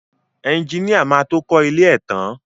Ẹjiníà má tó kọ ilé ẹ tán.